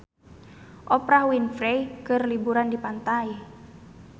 Oprah Winfrey keur liburan di pantai